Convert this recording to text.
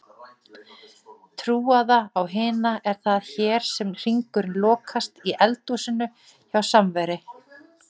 trúaða á hina, er það hér sem hringurinn lokast, í eldhúsinu hjá Samveri.